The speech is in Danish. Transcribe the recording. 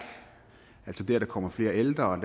altså det at der kommer flere ældre og at